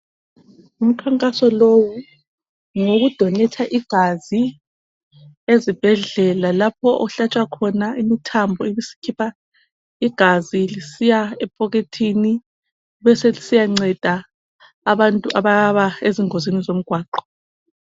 Umkhankaso 1owu ngowokudonetha igazi, ezibhedlela. Lapho ohlatshwa khona imithambo, ibisikhupha igazi eliya ephokhethini. Beselisiyanceda, abantu ababa sengozini zomgwaqo.